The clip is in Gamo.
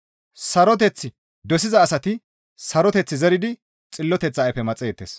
Saroteth dosiza asati saroteth zeridi xilloteththa ayfe maxeettes.